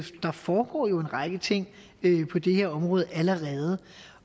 der foregår jo en række ting på det her område allerede